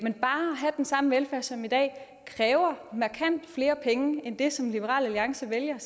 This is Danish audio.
have den samme velfærd som i dag kræver markant flere penge end det som liberal alliance vælger